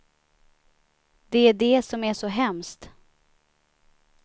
Det är det som är så hemskt.